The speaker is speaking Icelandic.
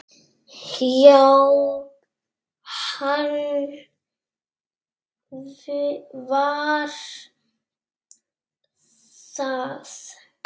Já, hann var það.